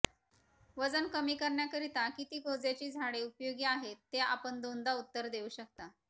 वजन कमी करण्याकरीता किती गोज्याची झाडे उपयोगी आहेत ते आपण दोनदा उत्तर देऊ शकता